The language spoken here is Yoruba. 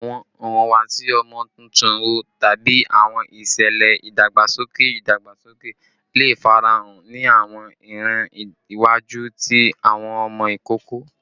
Awọn ihuwasi ọmọ tuntun wo tabi awọn iṣẹlẹ idagbasoke idagbasoke le farahan ni awọn iran iwaju ti awọn ọmọ ikoko?